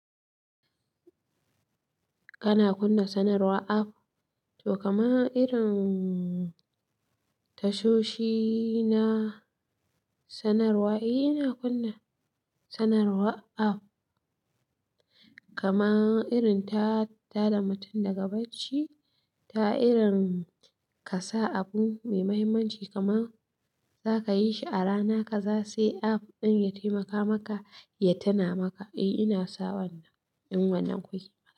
Kana kunna sanarwar app? To kaman irin tashoshi na sanarwa. Eh ina kunna sanarwar app. Kama irin ta tada mutum daga bacci, ta irin kasa abu mai muhimmanci kama zaka yi shi a rana kaza sai app ɗin ya taimaka maka ya tina maka. Eh ina sa wannan, ina wannan ku ke.